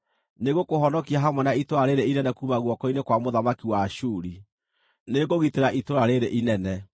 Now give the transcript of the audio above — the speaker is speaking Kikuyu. Nĩngũkũhonokia hamwe na itũũra rĩĩrĩ inene kuuma guoko-inĩ kwa mũthamaki wa Ashuri. Nĩngũgitĩra itũũra rĩĩrĩ inene.